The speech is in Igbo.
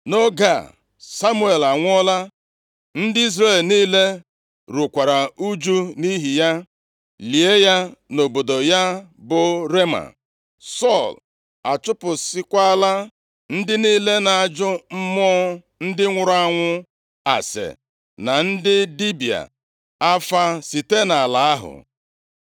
Nʼoge a Samuel anwụọla, ndị Izrel niile rukwara ụjụ nʼihi ya, lie ya nʼobodo ya bụ Rema. Sọl achụpụsịakwala ndị niile na-ajụ mmụọ ndị nwụrụ anwụ ase na ndị dibịa afa site nʼala ahụ.